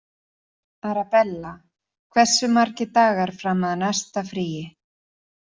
Arabella, hversu margir dagar fram að næsta fríi?